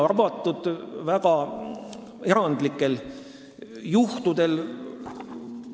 Jah, väga erandlikud juhud välja arvatud.